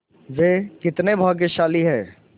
वे कितने भाग्यशाली हैं